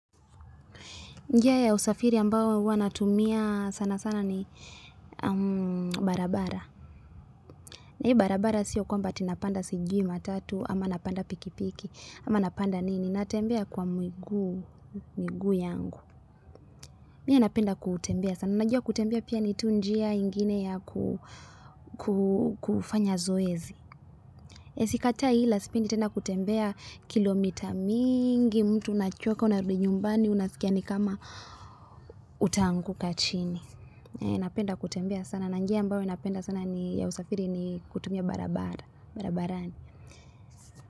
Njia ya usafiri ambayo huwana tumia sana sana ni barabara. Na hii barabara sio kwamba atinapanda sijui matatu ama napanda pikipiki. Ama napanda nini natembea kwa miguu miguu yangu. Mie napenda kutembea sana. Unajua kutembea pia nitu njia ingine ya kufanya zoezi. Sikatai ilasipendi tena kutembea kilomita mingi mtu unachoka unarudi nyumbani unasikiani kama utaangu kachini. Napenda kutembea sana. Nanjia ambayo ninapenda sana ni ya usafiri ni kutumia barabara.